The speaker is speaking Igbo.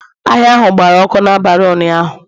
Ahịa ahụ gbara ọkụ n'abalị ụnyahụ